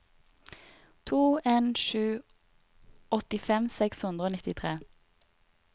to en sju to åttifem seks hundre og nittitre